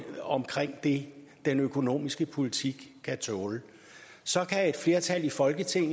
om det den økonomiske politik kan tåle så kan et flertal i folketinget